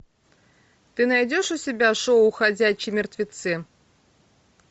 ты найдешь у себя шоу ходячие мертвецы